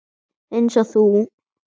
Eins og þú.